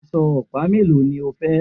Aṣọ ọ̀pá mélòó ni o fẹ́?